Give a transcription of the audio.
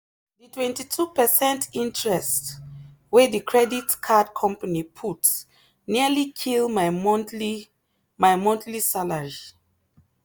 the 22 percent interest wey the credit card company put nearly kill my monthly my monthly salary.